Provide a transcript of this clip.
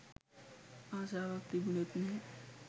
ආසාවක් තිබුනෙත් නැහැ.